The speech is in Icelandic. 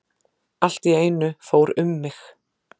Allt í einu fór um mig.